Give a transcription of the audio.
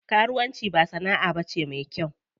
Karuwan ci ba sana'a bace me kyau.